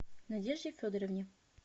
надежде федоровне